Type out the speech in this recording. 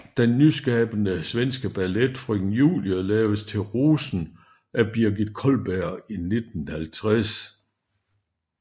Den nyskabende svenske ballet Frøken Julie laves til Rosen af Birgit Cullberg 1950